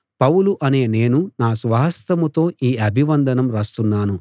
పౌలు అనే నేను నా స్వహస్తంతో ఈ అభివందనం రాస్తున్నాను